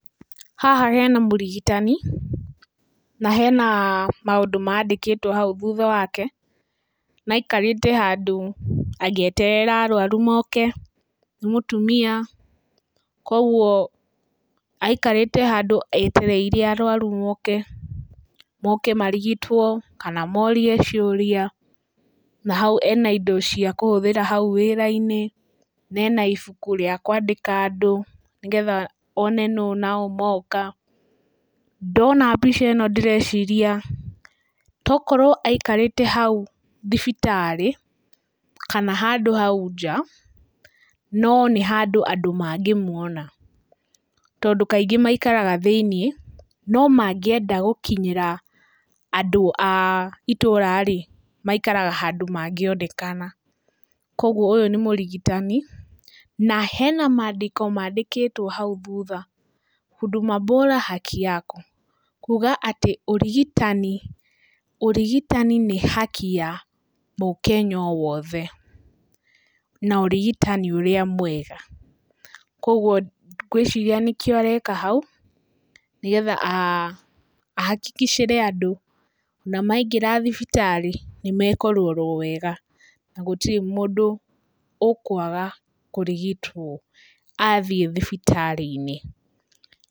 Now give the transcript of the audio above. Haha hena mũrigitani na hena maũndũ mandĩkĩtwo hau thutha wake, na aikarĩte handũ agĩeterera arwaru moke. Nĩ mũtumia koguo aikarĩte handũ etereire arwarũ moke marigitwo kana morie ciũria. Na hau ena indo cia kũhũthĩra hau wĩra-inĩ, na ena ibuku rĩa kwandĩka andũ, nĩgetha one no naũ moka. Ndona mbica ĩno ndĩreciria tokorwo aikarĩte hau thibitarĩ, kana handũ hau nja no nĩ handũ andũ mangĩmuona. Tondũ kaingĩ maikaraga thĩiniĩ, no mangĩenda gũkinyĩra andũ a itũra-rĩ maikaraga handũ mangĩonekana. Koguo ũyũ nĩ mũrigitani na hena mandĩko mandĩkĩtwo hau thutha huduma bora haki yako kuga atĩ ũrigitani, ũrigitani nĩ haki ya mũkenya o wothe, na ũrigitani ũrĩa mwega. Koguo ngwĩciria nĩkĩo areka hau, nĩgetha ahahakicĩre andũ ona maingĩra thibitarĩ nĩmekũrorwo wega, na gũtirĩ mũndũ ũkwaga kũrigitwo athiĩ thibitarĩ-inĩ.